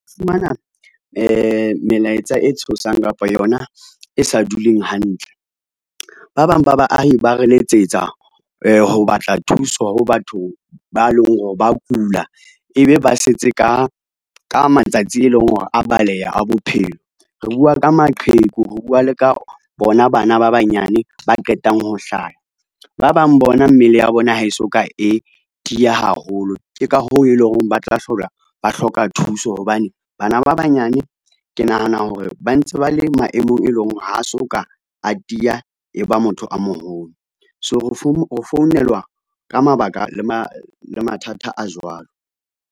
Fumana melaetsa e tshosang kapa yona e sa duleng hantle. Ba bang ba baahi ba re letsetsa ho batla thuso ho batho ba leng hore ba kula ebe ba setse ka matsatsi e leng hore a baleha a bophelo. Re bua ka maqheku, re bua le ka bona bana ba banyane ba qetang ho hlaya, ba bang bona mmele ya bona ha e so ka e tiya haholo, ke ka hoo e leng hore ba tla hlola ba hloka thuso hobane bana ba banyane ke nahana hore ba ntse ba le maemong, e leng hore ha so ka a tiya e ba motho a moholo. So ho founelwa ka mabaka le mathata a jwalo.